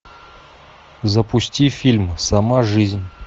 запусти фильм сама жизнь